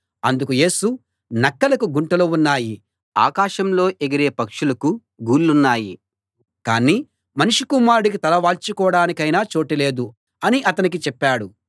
అందుకు యేసు నక్కలకు గుంటలు ఉన్నాయి ఆకాశంలో ఎగిరే పక్షులకు గూళ్ళున్నాయి కానీ మనుష్య కుమారుడికి తల వాల్చుకోడానికైనా చోటు లేదు అని అతనికి చెప్పాడు